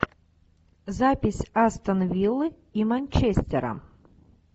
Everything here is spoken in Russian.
запись астон виллы и манчестера